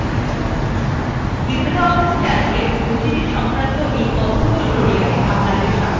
libreoffice calcএর পরিচিতি সংক্রান্ত এই কথ্য tutorialএ আপনাদের স্বাগত জানাচ্ছি